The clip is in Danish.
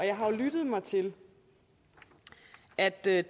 jo lyttet mig til at det er